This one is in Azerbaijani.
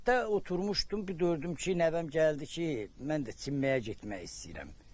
Həyətdə oturmuşdum, bir gördüm ki, nəvəm gəldi ki, mən də çimməyə getmək istəyirəm.